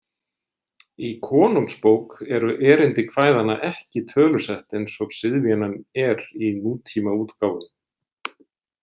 Í Konungsbók eru erindi kvæðanna ekki tölusett eins og siðvenjan er í nútímaútgáfum.